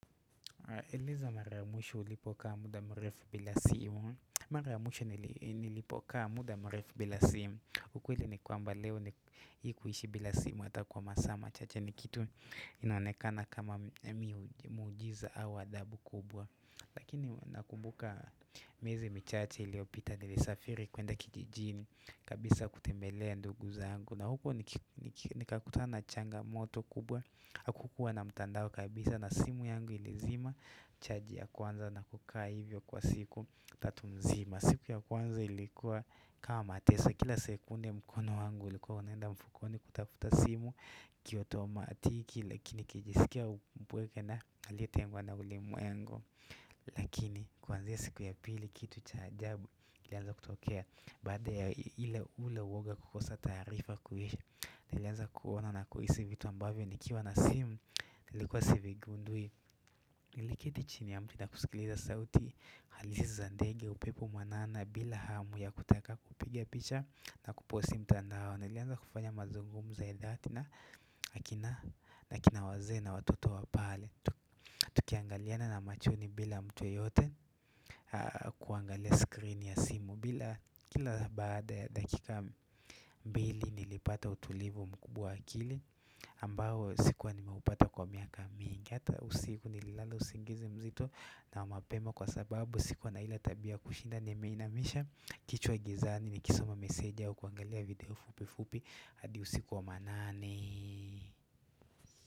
Eleza mara ya mwisho ulipokaa mda mrefu bila simu Mara ya mwisho nilipokaa muda mrefu bila simu ukweli ni kwamba leo ni kuishi bila simu Hata kwa masaa machache ni kitu inoanekana kama miujiza au adabu kubwa Lakini nakumbuka miezi michache iliopita nilisafiri kuenda kijijini kabisa kutembelea ndugu zangu na huku ni kakutana changa moto kubwa Akukuwa na mtandao kabisa na simu yangu ilizima chaji ya kwanza na kukaa hivyo kwa siku Tatumzima siku ya kwanza ilikuwa kama mateso Kila sekunde mkono wangu ilikuwa unaenda mfukoni kutafuta simu Kioto wa matiki lakini kijisikia mpweke na aliyetengwa na ulimwengu yangu Lakini kuanzia ya siku ya pili kitu cha jabu ilianza kutokea Baada ya ile ule woga kukosa taarifa kuhisha Nilianza kuona na kuhisi vitu ambavyo ni kiwa na simu, nilikuwa sivigundui Niliketi chini ya mti na kusikiliza sauti, halisi za ndege, upepo mwanana, bila hamu ya kutaka kupiga picha na kuposti mtandao Nilianza kufanya mazungumzo ya dhati na, nakina wazee na watoto wapale Tukiangaliana na machoni bila mtu yote kuangalia screen ya simu bila kila baada ya dakika mbili nilipata utulivu mkubwa wa akili ambao sikuwa nimeupata kwa miaka mingi Hata usiku nilala usingizi mzitu na mapema Kwa sababu sikuwa na ile tabia kushinda nimeinamisha kichwa gizani ni kisoma meseja ukuangalia video fupi fupi hadi usikuwa manane.